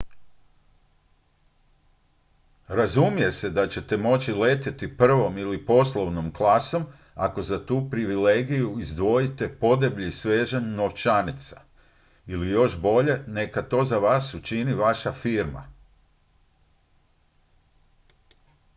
razumije se da ćete moći letjeti prvom ili poslovnom klasom ako za tu privilegiju izdvojite podeblji svežanj novčanica ili još bolje neka to za vas učini vaša firma